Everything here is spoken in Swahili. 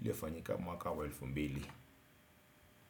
iliofanyika mwaka wa elfu mbili.